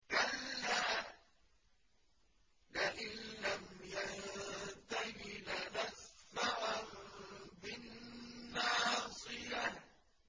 كَلَّا لَئِن لَّمْ يَنتَهِ لَنَسْفَعًا بِالنَّاصِيَةِ